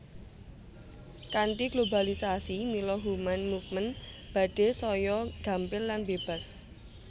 Kanthi globalisasi mila human movement badhé saya gampil lan bébas